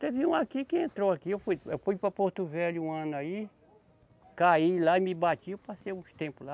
Teve um aqui que entrou aqui, eu fui, eu fui para Porto Velho um ano aí, caí lá e me bati, eu passei uns tempos lá.